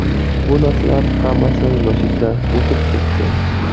Bu narsalar hammasi yoshlikda o‘tib ketdi.